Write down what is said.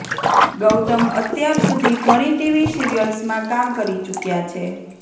ગૌતમ અત્યાર સુધી ઘણી ટીવી સીરીયલ્સ માં કામ કરી ચુક્યા છે